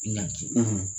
Ɲanki